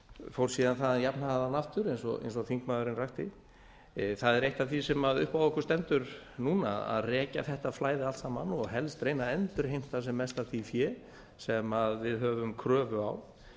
fór síðan þaðan jafnharðan aftur eins og þingmaðurinn rakti það er eitt af því sem upp á okkur stendur núna að rekja þetta flæði allt saman og helst að reyna að endurheimta sem mest af því fé sem við höfum kröfu á